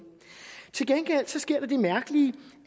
til gengæld sker der det mærkelige